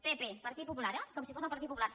pp partit popular eh com si fos el partit popular